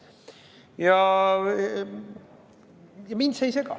Ja mind see ei sega.